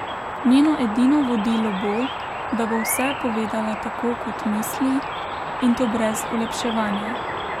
Njeno edino vodilo bo, da bo vse povedala tako, kot misli, in to brez olepševanja.